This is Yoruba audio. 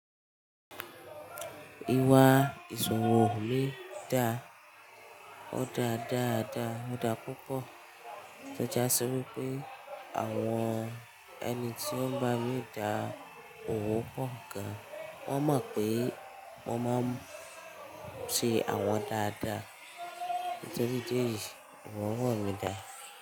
Ìwà ìṣòwò le dá o dàa dáadáa, o daà púpọ̀ tó jasi wipé àwọn ẹni tí ó ń bá mi dá òwò pọ̀ gan. Wọ́n mọ̀ pé wọ́n mo máa ń ṣe àwọn dáadáa. Tori idi eyi, iwa ọwọ́ mí dá.